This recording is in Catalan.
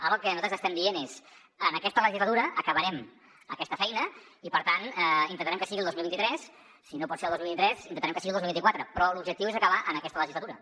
ara el que nosaltres estem dient és que en aquesta legislatura acabarem aquesta feina i per tant intentarem que sigui el dos mil vint tres si no pot ser el dos mil vint tres intentarem que sigui el dos mil vint quatre però l’objectiu és acabar en aquesta legislatura